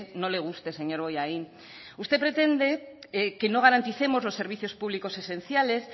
no le guste señor bollain usted pretende que no garanticemos los servicios públicos esenciales